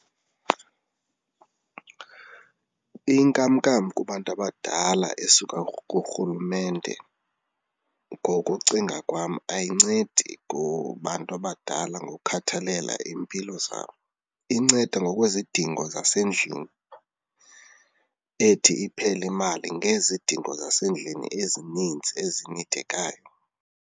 Inkamnkam kubantu abadala esuka kurhulumente ngokucinga kwam ayincedi kubantu abadala nangokukhathalela iimpilo zabo, inceda ngokwezidingo zasendlini. Ethi iphele imali ngezidingo zasendlini ezininzi ezinidekayo.